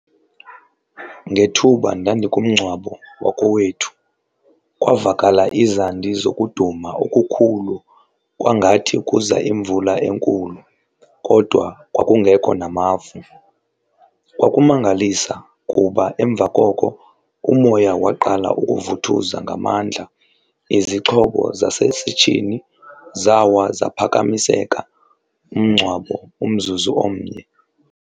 Ngethuba ndandikumngcwabo wakowethu kwavakala izandi zokuduma okukhulu kwangathi kuza imvula enkulu kodwa kwakungekho namafu. Kwakumangalisa kuba emva koko umoya waqala ukuvuthuza ngamandla, izixhobo zasesitshini zawa zaphakamiseka, umngcwabo umzuzu omnye.